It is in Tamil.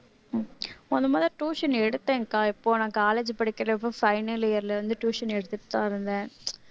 முதல் முதல்ல tuition எடுத்தேன்க்கா இப்போ நான் college படிக்கிறப்போ final year ல இருந்து tuition எடுத்திட்டுதான் இருந்தேன்